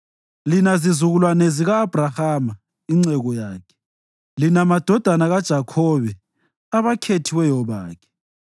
lina zizukulwane zika-Abhrahama inceku yakhe, lina madodana kaJakhobe, abakhethiweyo bakhe.